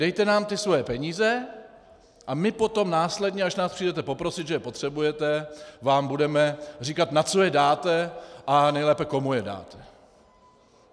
Dejte nám ty svoje peníze a my potom následně, až nás přijdete poprosit, že je potřebujete, vám budeme říkat, na co je dáte, a nejlépe, komu je dáte.